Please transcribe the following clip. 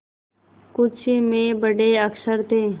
कुछ में बड़े अक्षर थे